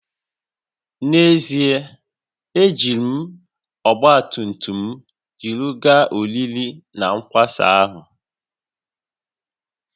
N’ezie, ejiri m ọgba tum tum m jiri gaa oriri na nkwari ahụ